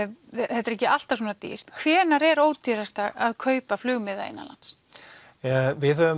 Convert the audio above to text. þetta er ekki alltaf svona dýrt hvenær er ódýrast að kaupa flugmiða innanlands við höfum